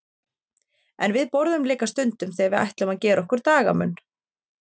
En við borðum líka stundum þegar við ætlum að gera okkur dagamun.